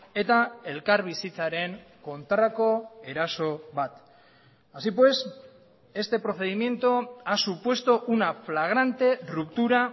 eta elkarbizitzaren kontrako eraso bat así pues este procedimiento ha supuesto una flagrante ruptura